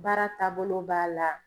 Baara taabolo b'a la.